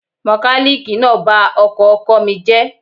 Mọkálíìkì náà ba ọkọ̀ ọkọ mi jẹ́